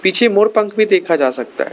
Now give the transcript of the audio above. पीछे मोर पंख भी देखा जा सकता है।